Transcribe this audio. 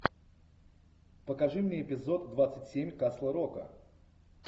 покажи мне эпизод двадцать семь касл рока